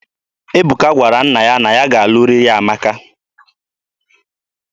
Ebuka gwara nna ya na ya ga-alụrịrị Amaka.